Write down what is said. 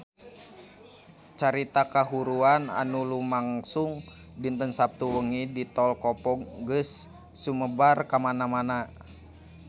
Carita kahuruan anu lumangsung dinten Saptu wengi di Tol Kopo geus sumebar kamana-mana